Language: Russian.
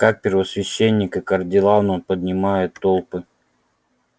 как первосвященник и кардинал он поднимает толпы